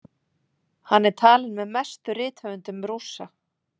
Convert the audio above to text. Hann er talinn með mestu rithöfundum Rússa.